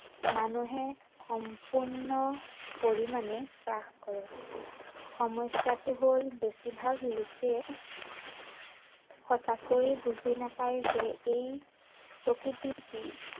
মানুহে সম্পূৰ্ণ পৰিমাণে গ্ৰাস কৰে। সমস্য়াটো হল, বেছিভাগ লোকে সঁচাকৈ বুজি নাপায় যে এই, প্ৰকৃতি কি